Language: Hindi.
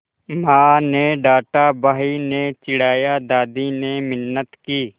माँ ने डाँटा भाई ने चिढ़ाया दादी ने मिन्नत की